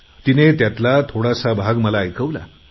तिने मला त्यातला थोडासा भाग ऐकवला